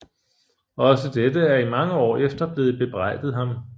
Også dette er i mange år efter blevet bebrejdet ham